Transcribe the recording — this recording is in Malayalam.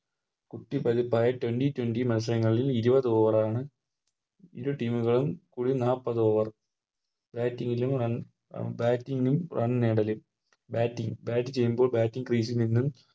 കുട്ടി പതിപ്പായ Twenty twenty മത്സരങ്ങളിൽ ഇരുപത് Over ആണ് ഇരു Team കളും ഒര് നാപ്പത് Over batting batting run നേടലിൽ Batting bat ചെയ്യുമ്പോൾ Batting crease ൽ നിന്നും